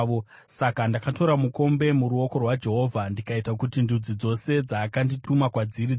Saka ndakatora mukombe muruoko rwaJehovha ndikaita kuti ndudzi dzose dzaakandituma kwadziri dzinwe: